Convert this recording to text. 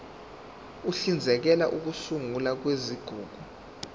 uhlinzekela ukusungulwa kwezigungu